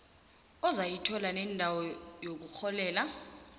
ozayithola nendawo yokurholela